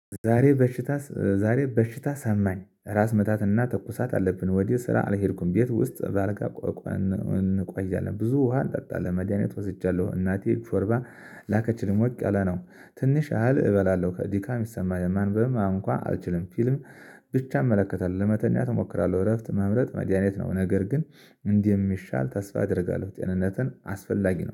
ዛሬ በሽታ ዛሬ በሽታ ሰማኝ ራስ ምታትና ተኩሳት አለብን ወዲያ ስራ አልሄድኩም ቤት ውስጥ በአልጋ ቆየናል ብዙ ውሃ ለመድሃኒት ወስጃለሁ። እናቴ ሾርባ ላከችልም ሞቅ ነው ትንሽ ያህል እበላለሁ። ድካ ይሰማኛልን? ማንበብም እንኳ አልችልም። ፊልም ብቻ እመለከታለሁ ለመተኛት እሞክራለሁ። እረፍት መምረጥ መድሃኒት ነው። ነገር ግን እንዲህ የሚሻል ተስፋ አደርጋለሁ። ጤንነትን አስፈላጊ ነው